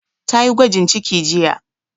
Ta yi gwajin ciki jiya